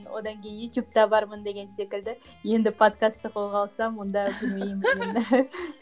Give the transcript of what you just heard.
одан кейін ютубта бармын деген секілді енді подкастты қолға алсам онда білмеймін енді